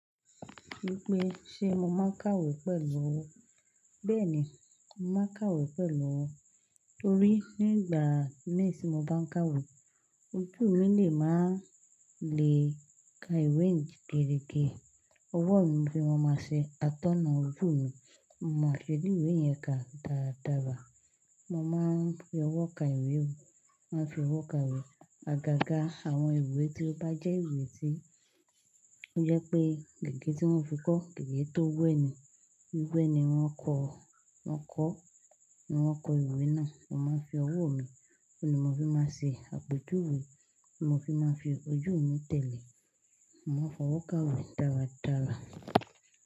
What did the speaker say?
Bí i pé ṣé mo máa ń kàwé pẹ̀lú ọ́? Bẹ́ẹ̀ ni, mo máa ń kàwé pẹ̀lú ọ́. Torí nígbà méjì tí mo bá ń kàwé, ojú mi lè máa le ka ìwé gẹrẹgẹ. Ọwọ́ mi ni mo máa ṣe atọ́nà ojú mi, mo máa fi ẹni ìwé yẹn kà dáradára. Mo máa ń fi ọwọ́ ka ìwé, máa ń fi ọwọ́ kàwé. Agaga àwọn ìwé tí ó bá jẹ́ ìwé tí ó jẹ́ pé gègé tí wọ́n fi kọ́, gègé tó wẹ́ ni. Gbigbe ni wọ́n kọ, wọ́n kọ́ ni wọ́n kọ ìwé náà. Mo máa ń fi ọwọ́ mi, ó ni mo fi máa ṣe àpèjúwe, mo fi máa ń fi ojú mi tẹ̀lé. Mo máa ń fi ọwọ́ kàwé dáradára.